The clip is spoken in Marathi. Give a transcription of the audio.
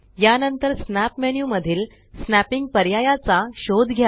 या नंतर स्नॅप मेन्यू मधील स्नॅपिंग पर्यायाचा शोध घ्या